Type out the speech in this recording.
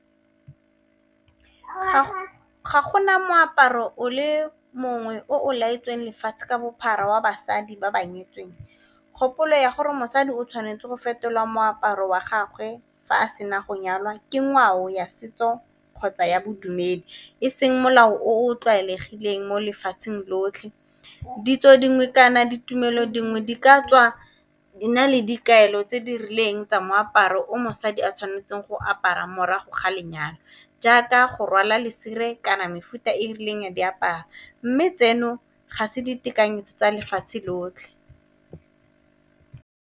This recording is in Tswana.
Ga gona moaparo o le mongwe o o laetsweng lefatshe ka bophara wa basadi ba ba nyetsweng, kgopolo ya gore mosadi o tshwanetse go fetolwa moaparo wa gagwe fa a sena go nyalwa ke ngwao ya setso kgotsa ya bodumedi, eseng molao o o tlwaelegileng mo lefatsheng lotlhe. Ditso dingwe kana ditumelo dingwe di ka tswa di na le dikaelo tse di rileng tsa moaparo o di a tshwanetseng go apara morago ga lenyalo, jaaka go rwala lesire kana mefuta e e rileng ya diaparo, mme tseno ga se ditekanyetso tsa lefatshe lotlhe.